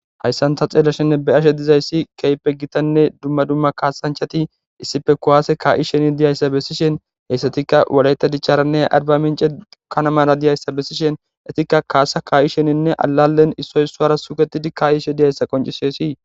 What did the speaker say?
Haysan ta xelashenne be'ashe dizaysi kehipe gitane duma duma kasanchati issipe kuwase ka'ishen diyaysa besishen heysatika wolayta dicharanne arbaminc'e kanamara diyaysa besishen etika kasa ka'isheninne alalen issoy isuwara sugetidi ka'ishe diyaysa qonc'ses.